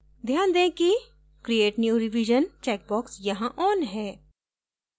ध्यान दें कि create new revision checkbox यहाँ on है